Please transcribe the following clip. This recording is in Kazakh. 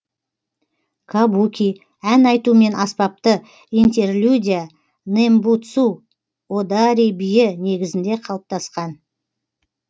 кабуки ән айту мен аспапты интерлюдия нэмбуцу одори биі негізінде калыптасқан